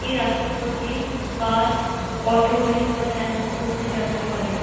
এই রাস্তার উপর দিয়ে বাস অটো রিক্শা ট্যাস্কি প্রভৃতি যাতায়াত করে।